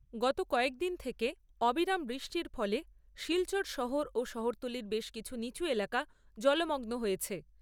গত কয়েকদিন থেকে অবিরাম বৃষ্টির ফলে শিলচর শহর ও শহরতলির বেশ কিছু নিচু এলাকা জলমগ্ন হয়েছে।